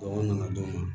Mɔgɔ nana d'o ma